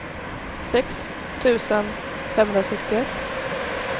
sex tusen femhundrasextioett